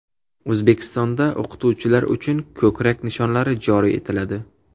O‘zbekistonda o‘qituvchilar uchun ko‘krak nishonlari joriy etiladi.